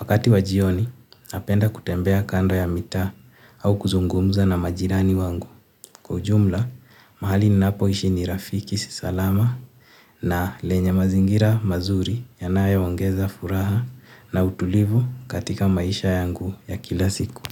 Wakati wa jioni napenda kutembea kando ya mitaa au kuzungumza na majirani wangu. Kwa ujumla mahali ninapo ishi ni rafiki si salama na lenye mazingira mazuri yanayo ongeza furaha na utulivu katika maisha yangu ya kila siku.